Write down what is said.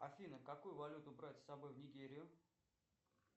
афина какую валюту брать с собой в нигерию